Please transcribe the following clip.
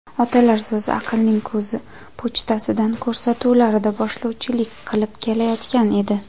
"Otalar so‘zi – aqlning ko‘zi" pochtasidan" ko‘rsatuvlarida boshlovchilik qilib kelayotgan edi.